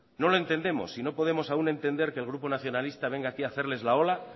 no lo entendemos y no podemos aún entender que el grupo nacionalista venga aquí a hacerles la ola